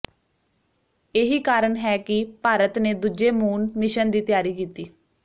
ਇਹੀ ਕਾਰਨ ਹੈ ਕਿ ਭਾਰਤ ਨੇ ਦੂਜੇ ਮੂਨ ਮਿਸ਼ਨ ਦੀ ਤਿਆਰੀ ਕੀਤੀ